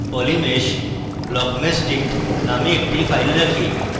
polymesh blockmeshdict নামে একটি file রাখে